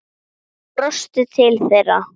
Ég brosti til þeirra.